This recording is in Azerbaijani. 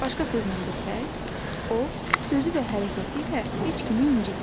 Başqa sözlə desək, o sözü və hərəkəti ilə heç kimi incitmir.